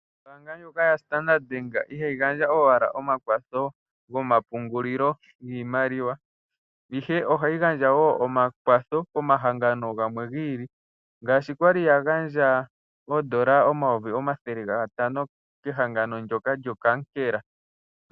Oombaanga ndjoka yaStandard-Bank iha yi gandja owala omakwatho gomapungulilo giimaliwa, ihe oha yi gandja wo omakwatho komahangano gamwe giili ngaashi yali ya gandja oodola omayovi omathele gatano kehangano ndjoka lyonkankela.